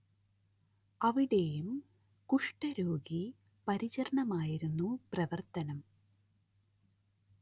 അവിടേയും കുഷ്ടരോഗി പരിചരണമായിരുന്നു പ്രവർത്തനം